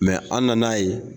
an nana ye